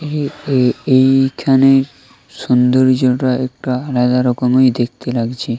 এই এই এইখানে সৌন্দর্যটা একটা আলাদা রকমের দেখতে লাগছে।